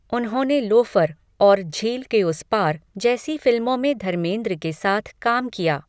उन्होंने लोफर और झील के उस पार जैसी फिल्मों में धर्मेंद्र के साथ काम किया।